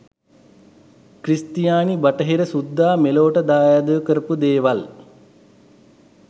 ක්‍රිස්තියානි බටහිර සුද්දා මෙලොවට දායාද කරපු දේවල්